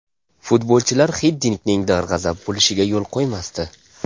Futbolchilar Xiddinkning darg‘azab bo‘lishiga yo‘l qo‘ymasdi.